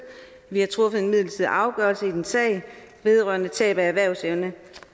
vi har truffet en midlertidig afgørelse i din sag vedrørende tab af erhvervsevne